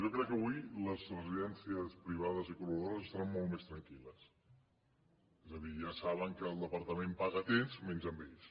jo crec que avui les residències privades i collaboradores estaran molt més tranquil·les és a dir ja saben que el departament paga a temps menys a ells